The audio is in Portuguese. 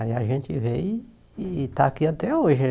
Aí a gente veio e está aqui até hoje.